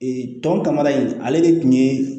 Ee tɔn kama in ale de kun ye